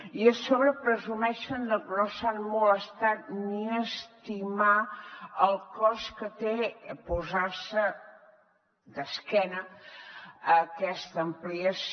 i a sobre presumeixen de que no s’han molestat ni a estimar el cost que té posar se d’esquena a aquesta ampliació